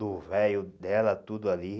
Do véio dela tudo ali.